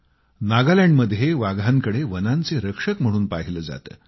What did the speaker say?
नागालँड मध्ये वाघांकडे वनांचे रक्षक म्हणून पाहिले जाते